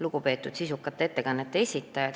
Lugupeetud sisukate ettekannete esitajad!